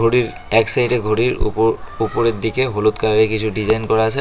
এর এক সাইডে ঘড়ির উপর উপরের দিকে হলুদ কালারের কিছু ডিজাইন করা আছে।